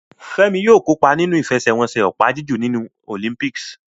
Femi yóò kópa nínú ìfẹsẹ̀wọnsẹ̀ opa-jiju ní Olympics.